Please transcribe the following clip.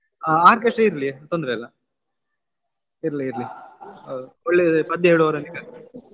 ಹಾ orchestra ಇರ್ಲಿ ತೊಂದರೆ ಇಲ್ಲ ಇರ್ಲಿ ಇರ್ಲಿ ಒಳ್ಳೆ ಪದ್ಯ ಹೇಳುವವರನ್ನೇ ಕರೆಸಿ.